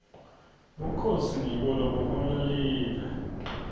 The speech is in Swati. bukhosi ngibo lobuhola live